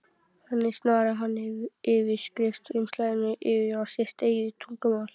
Þannig snaraði hann yfirskrift umslagsins yfir á sitt eigið tungumál.